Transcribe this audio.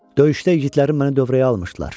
Döyüşdə igidlərim məni dövrəyə almışdılar.